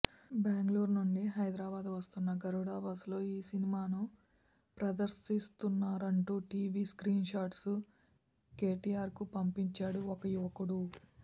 బెంగళూరు నుంచి హైదరాబాద్ వస్తున్న గరుడ బస్సులో ఈ సినిమాను ప్రదర్శిస్తున్నారంటూ టీవీ స్క్రీన్షాట్ను కేటీఆర్కు పంపించాడు ఓ యువకుడు